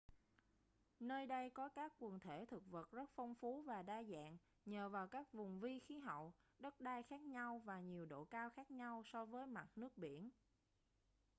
nơi đây có các quần thể thực vật rất phong phú và đa dạng nhờ vào các vùng vi khí hậu đất đai khác nhau và nhiều độ cao khác nhau so với mặt nước biển